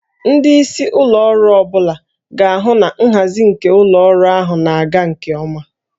Ndị isi ụlọ ọrụ ọ bụla ga-ahụ na nhazi nke ụlọ ọrụ ahụ na-aga nke ọma